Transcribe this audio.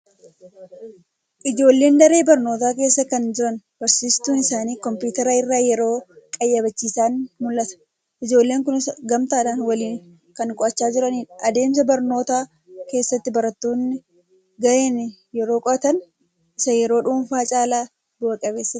Ijoolleen daree barnootaa keessa kan jiranii barsiistuun isaanii kompiitara irraa yeroo qayyabachiisan mul'ata. Ijoolleen kunis gamtaadhaan waliin kan qo'achaa jiranidha. Adeemsa barnootaa Keessatti barattoonni gareen yeroo qo'atan isa yeroo dhuunfaa caalaa bu'a-qabeessa ta'a.